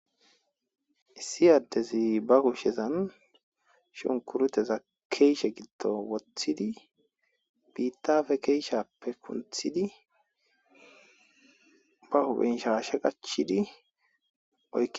Issi ade ba goshazan shunkurute keshen woththidi biththappe keshen kunthidi ba huphphe shashe qachidi oykidi